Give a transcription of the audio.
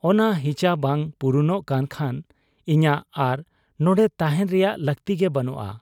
ᱚᱱᱟ ᱦᱤᱪᱟᱹ ᱵᱟᱝ ᱯᱩᱨᱩᱱᱚᱜ ᱠᱟᱱ ᱠᱷᱟᱱ ᱤᱧᱟᱹᱜ ᱟᱨ ᱱᱚᱱᱰᱮ ᱛᱟᱦᱮᱸᱱ ᱨᱮᱭᱟᱜ ᱞᱟᱹᱠᱛᱤ ᱜᱮ ᱵᱟᱹᱱᱩᱜ ᱟ ᱾